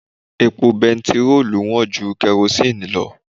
Epo bẹntiróòlù wọ̀n ju kẹrosini lọ.